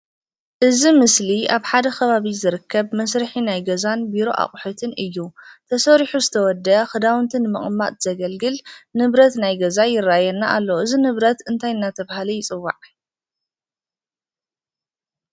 እዚ ምስሊ አብ ሓደ ኸባቢ ዝርከብ መስርሒ ናይ ገዛን ቢሮ አቁሑትን እዩ። ተሰሪሑ ዝተወደአ ኽዳውንቲ ንምቅማጥ ዘገልግል ንብረት ናይ ገዛ ይረአየና አሎ። እዚ ንብረት እንታይ እናተባሃለ ይፅዋዕ?